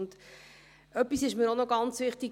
Eines ist mir auch noch ganz wichtig: